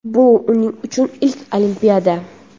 Bu uning uchun ilk Olimpiada!.